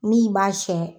Min b'a siyɛn